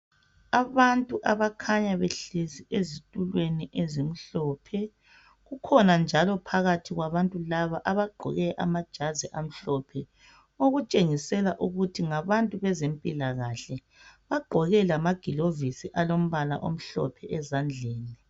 Abantu abakhanya behlezi ezitulweni ezimhlophe kukhona njalo phakathi kwabantu laba abagqoke amajazi amhlophe okutshengisela ukuthi ngabantu bezempilakahle bagqoke lamagilovisi alombala omhlophe ezandleni.